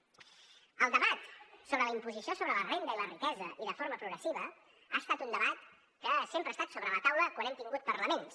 el debat sobre la imposició sobre la renda i la riquesa i de forma progressiva ha estat un debat que sempre ha estat sobre la taula quan hem tingut parlaments